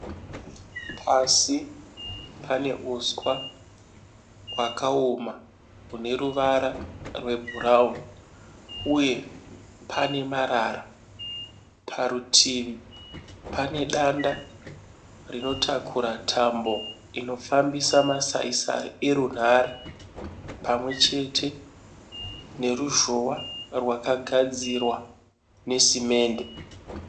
Pasi pane uswa hwakaoma une ruvara rwebhurauni, uye pane marara. Parutivi pane danda rinotakura tambo inofambisa masai sai erunhare, pamwe chete neruzhowa rwaka gadzirwa nesimende.